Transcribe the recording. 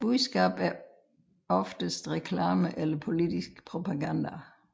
Budskabet er oftest reklame eller politisk propaganda